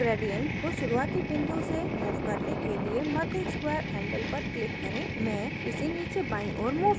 gradient को शुरूवाती बिंदु से move करने के लिए मध्य square handle पर click करें मैं इसे नीचे बायीं ओर move करुँगी